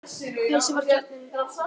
Persía var kjarninn.